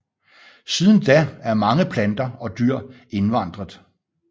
Siden da er mange planter og dyr indvandret